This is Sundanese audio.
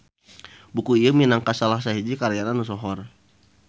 Buku ieu minangka salah sahiji karyana nu sohor.